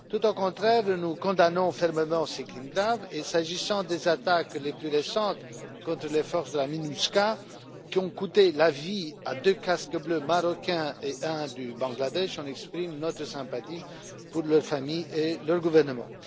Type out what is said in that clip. Bien au contraire, nous condamnons fermement ces crimes graves et s'agissant des attaques les plus récentes contre les forces de la MINUSCA qui ont coûté la vie à deux casques bleus marocains et à un du Bangladesh, nous exprimons notre sympathie envers leurs familles et leurs gouvernements.